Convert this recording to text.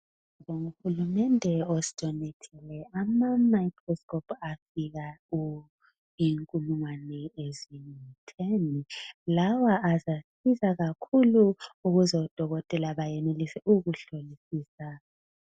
Uhulumende osidonethele amamicroscope afika inkulungwane eziyitheni lawa azasiza kakhulu ukuze odokotela bayenelise ukuhlolisisa.